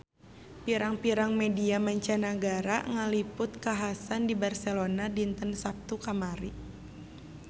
Pirang-pirang media mancanagara ngaliput kakhasan di Barcelona dinten Saptu kamari